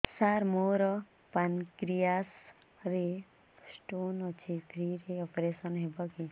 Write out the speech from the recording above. ସାର ମୋର ପାନକ୍ରିଆସ ରେ ସ୍ଟୋନ ଅଛି ଫ୍ରି ରେ ଅପେରସନ ହେବ କି